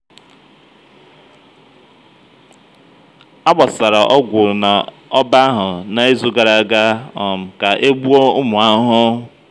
agbasara ọgwụ na ọba ahụ na izu gara aga um ka e gbuo ụmụ ahụhụ.